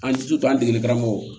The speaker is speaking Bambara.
An sutura an degeli karamɔgɔ